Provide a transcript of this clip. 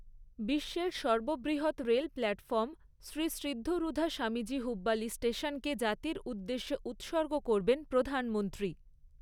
বিশ্বের সর্ববৃহৎ রেল প্ল্যাটফর্ম শ্রী সিদ্ধারূধা স্বামীজী হুব্বালি স্টেশনকে জাতির উদ্দেশ্যে উৎসর্গ করবেন প্রধানমন্ত্রী।